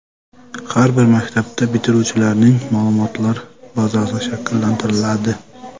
Har bir maktabda bitiruvchilarning ma’lumotlar bazasi shakllantiriladi.